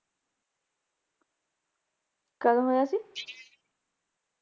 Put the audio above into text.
ਕਦ ਹੋਇਆ ਸੀ?